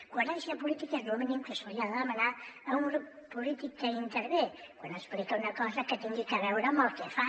coherència política és el mínim que se li ha de demanar a un grup polític que intervé quan explica una cosa que tingui a veure amb el que fa